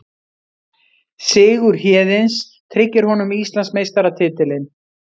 Sigur Héðins tryggir honum Íslandsmeistaratitilinn